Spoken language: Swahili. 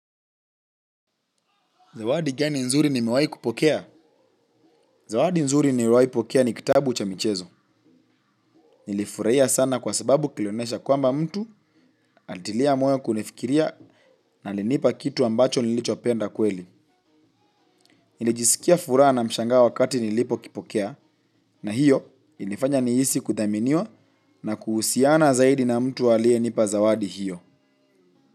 Zawadi gani nzuri nimewahi kupokea? Zawadi nzuri niliowahi pokea ni kitabu cha michezo. Nilifurahia sana kwa sababu kilionesha kwamba mtu alitia moyo kunifikiria na alinipa kitu ambacho nilichopenda kweli. Nilijisikia furaha na mshangao wakati nilipokipokea na hiyo ilifanya nihisi kuthaminiwa na kuhusiana zaidi na mtu aliyenipa zawadi hiyo.